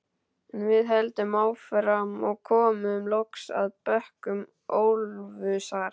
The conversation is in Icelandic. En við héldum áfram og komum loks að bökkum Ölfusár.